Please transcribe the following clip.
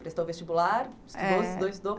Prestou o vestibular? é... estudou, estudou, estudou